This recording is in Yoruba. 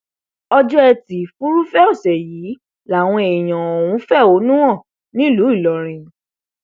ọjọ etí furuufee ọsẹ yìí làwọn èèyàn ọhún fẹhónú nílùú ìlọrin